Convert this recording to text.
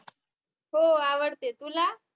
हो आवडते तुला